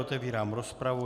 Otevírám rozpravu.